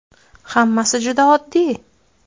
Hammasi juda oddiy!